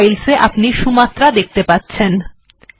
programme files এ আপনি Sumatra দেখতে পাচ্ছেন